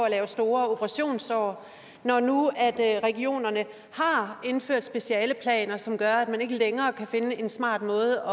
at lave store operationssår når nu regionerne har indført specialeplaner som gør at man ikke længere kan finde en smartere måde